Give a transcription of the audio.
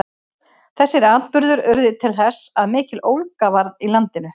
þessir atburðir urðu til þess að mikill ólga varð í landinu